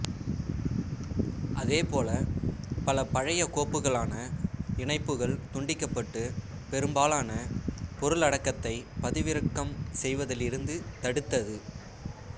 அதேபோல பல பழைய கோப்புகளுக்கான இணைப்புகள் துண்டிக்கப்பட்டு பெரும்பாலான பொருளடக்கத்தை பதிவிறக்கம் செய்வதிலிருந்து தடுத்தது